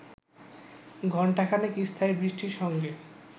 ঘণ্টাখানেক স্থায়ী বৃষ্টির সঙ্গে